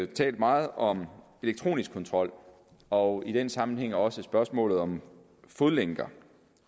talt meget om elektronisk kontrol og i den sammenhæng er også spørgsmålet om fodlænker